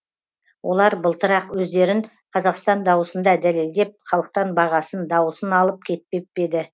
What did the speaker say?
олар былтыр ақ өздерін қазақстан дауысында дәлелдеп халықтан бағасын дауысын алып кетпеп пе еді